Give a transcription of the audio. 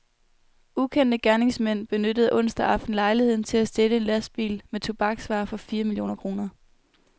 Ukendte gerningsmænd benyttede onsdag aften lejligheden til at stjæle en lastbil med tobaksvarer for fire millioner kroner.